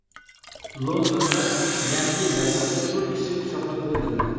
Londonda Yangi yil bayramida to‘rt kishi pichoqlab o‘ldirildi.